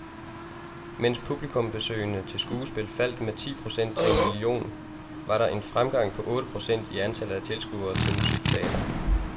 Mens publikumsbesøget til skuespil faldt med ti procent til en million, var der en fremgang på otte procent i antallet af tilskuere til musikteater.